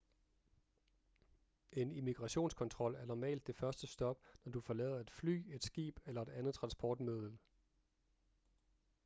en immigrationskontrol er normalt det første stop når du forlader et fly et skib eller et andet transportmiddel